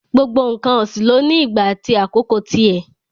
Gbogbo n̄ǹkan ọ̀sìn ló ní ìgbà àti àkókò ti ẹ̀.